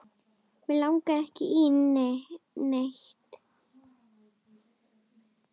Mig langar ekki í neitt.